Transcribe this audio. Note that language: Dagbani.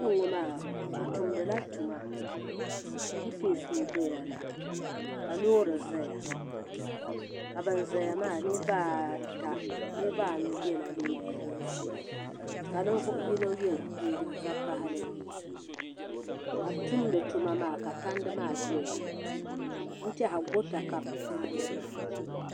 Kpenŋɔ bɛ tumdi la tuma chipinsi n doya la ka loori zaya ka ban zaya maa niriba ata niriba anu yela liiga yinsi ka ninvuɣu yino ye liiga vakahali ka bɛ tumdi tuma maa ka tandi maa doya n tɛhiya gota ka bɛ maani maa.